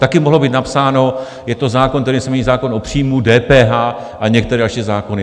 Také mohlo být napsáno: je to zákon, kterým se mění zákon o příjmu DPH a některé další zákony.